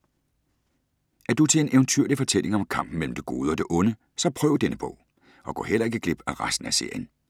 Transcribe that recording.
Er du til en eventyrlig fortælling om kampen mellem det gode og det onde, så prøv denne bog. Og gå heller ikke glip af resten af serien.